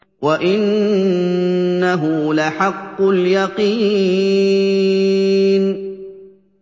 وَإِنَّهُ لَحَقُّ الْيَقِينِ